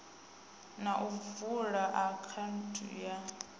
na u vula akhaunthu ya